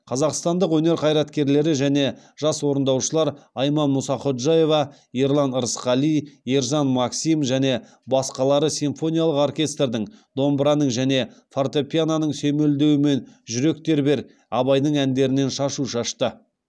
қазақстандық өнер қайраткерлері және жас орындаушылар айман мұсақожаева ерлан рысқали ержан максим және басқалары симфониялық оркестрдің домбыраның және фортепияноның сүйемелдеуімен жүрек тербер абайдың әндерінен шашу шашты